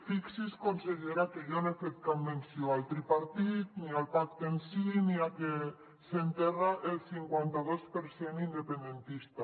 fixi’s consellera que jo no he fet cap menció al tripartit ni al pacte en si ni a que s’enterra el cinquanta dos per cent independentista